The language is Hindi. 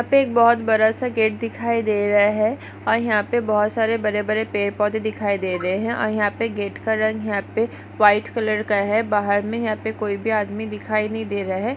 यहा पे बहुत बड़ा सा गेट दिखाई दे रहा है और यहा पे बहुत सारे बड़े बड़े पेड़ पौधे दिखाई दे रहे है और यहा पे गेट का रंग यहा पे व्हाइट कलर का है बाहर मे यहा पे कोई भी आदमी दिखाई नहीं दे रहा है।